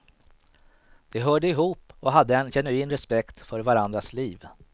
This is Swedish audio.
De hörde ihop och hade en genuin respekt för varandras liv.